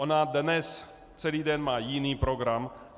Ona dnes celý den má jiný program.